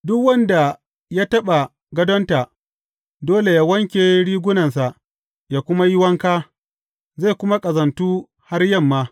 Duk wanda ya taɓa gadonta dole yă wanke rigunansa yă kuma yi wanka, zai kuma ƙazantu har yamma.